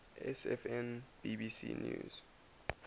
sfn bbc news